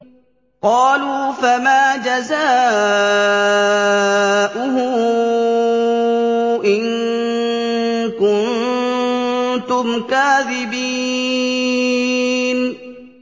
قَالُوا فَمَا جَزَاؤُهُ إِن كُنتُمْ كَاذِبِينَ